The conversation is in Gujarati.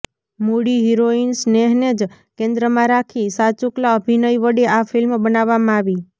મૂળ હિરોઈન સ્નેહને જ કેન્દ્રમાં રાખી સાચુકલા અભિનય વડે આ ફિલ્મ બનાવવામાં આવી